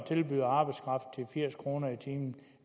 tilbyder arbejdskraft til firs kroner i timen